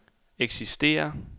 eksisterer